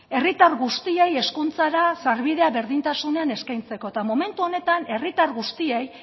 herritar guztiei hezkuntzara sarbidea berdintasunean eskaintzeko eta momentu honetan herritar guztiei